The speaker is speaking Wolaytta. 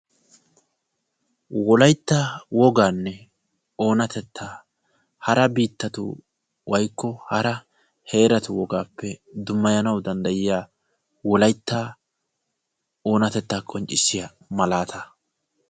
wolaytta wogaanne oonatettaa hara biittatu woykko hara heeratu wogaappe dummayanawu danddayiya wolaytta oonatettaa qonccissiya malaataa.